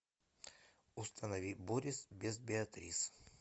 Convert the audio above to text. установи борис без беатрис